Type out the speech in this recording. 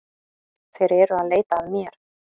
Þeir eru að leita að mér